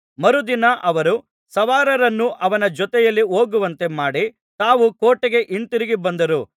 ಮರುದಿನ ಅವರು ಸವಾರರನ್ನು ಅವನ ಜೊತೆಯಲ್ಲಿ ಹೋಗುವಂತೆ ಮಾಡಿ ತಾವು ಕೋಟೆಗೆ ಹಿಂತಿರುಗಿ ಬಂದರು